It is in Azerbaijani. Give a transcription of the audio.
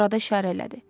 Murada işarə elədi.